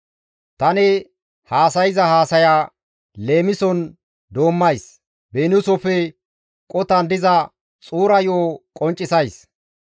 Tani haasayza haasaya leemison doommays; beniisofe qotan diza xuura yo7o qonccisays.